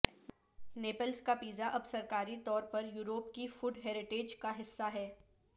Nepalese کا pizza اب سرکاری طور پر یورپ کی فوڈ ہیریٹیج کا حصہ ہے